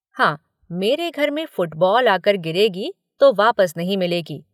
हां मेरे घर में फुटबॉ़ल आकर गिरेगी तो वापस नहीं मिलेगी।